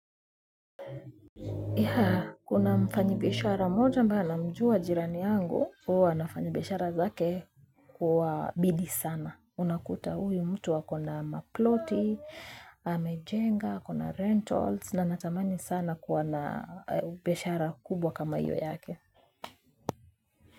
Ya kuna mfanyi beshara moja mba na mjua jirani yangu. Uwa nafanyi beshara zake kuwa bidi sana. Unakuta uyu mtu wa kuna maploti. Amejenga, kuna rentals. Na natamani sana kuna beshara kubwa kama iyo yake.